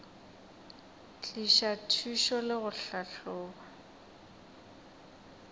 tliša thušo le go tlhahloba